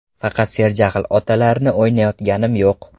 Faqat serjahl otalarni o‘ynayotganim yo‘q.